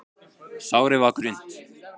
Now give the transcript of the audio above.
Sárið var grunnt.